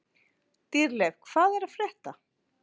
Dýrleif, hvað er að frétta?